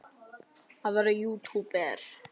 Hvert er áhugamál þitt?